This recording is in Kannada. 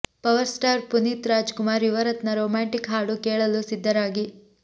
power star Puneeth Rajkumar Yuvarathnaa romantic ಹಾಡು ಕೇಳಲು ಸಿದ್ಧರಾಗಿ